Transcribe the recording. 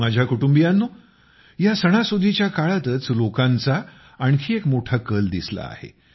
माझ्या कुटुंबियांनो या सणासुदीच्या काळातच लोकांचा आणखी एक मोठा कल दिसला आहे